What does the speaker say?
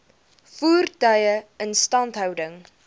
voertuie instandhouding